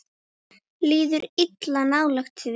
Líður illa nálægt því.